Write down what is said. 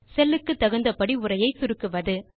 செல் க்கு தகுந்தபடி உரையை சுருக்குவது